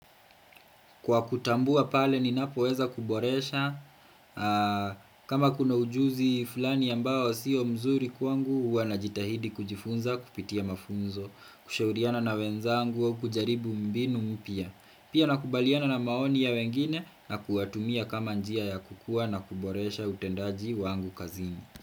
Kwa kutambua pale ninapoweza kuboresha, kama kuna ujuzi fulani ambao siyo mzuri kwangu, ua najitahidi kujifunza kupitia mafunzo, kushauriana na wenzangu au kujaribu mbinu mpya. Pia nakubaliana na maoni ya wengine na kuwatumia kama njia ya kukua na kuboresha utendaji wangu kazini.